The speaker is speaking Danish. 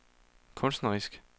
kunstnerisk